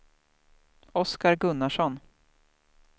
Oscar Gunnarsson